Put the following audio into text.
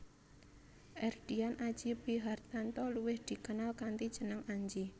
Erdian Aji Prihartanto luwih dikenal kanthi jeneng Anji